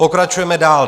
Pokračujeme dál.